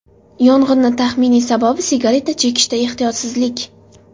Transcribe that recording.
Yong‘inni taxminiy sababi sigareta chekishda ehtiyotsizlik.